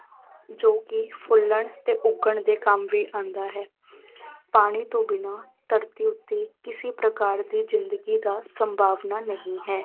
ਜੋ ਕਿ ਫੁੱਲਣ ਤੇ ਉੱਗਣ ਦੇ ਕੰਮ ਵੀ ਆਉਂਦਾ ਹੈ ਪਾਣੀ ਤੋਂ ਬਿਨਾਂ ਧਰਤੀ ਉੱਤੇ ਕਿਸੇ ਪ੍ਰਕਾਰ ਦੀ ਜ਼ਿੰਦਗੀ ਦਾ ਸੰਭਾਵਨਾ ਨਹੀਂ ਹੈ।